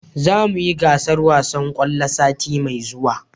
Za mu yi gasar wasan kwallo sati mai zuwa